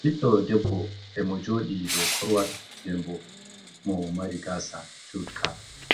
Ɓiddo debbo e mo joɗi dou korwal, den bo mo mari gasa jutka